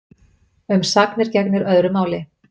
Um sagnir gegnir öðru máli.